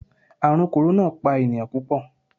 Ààrùn kòrónà pa ènìyàn púpọ̀.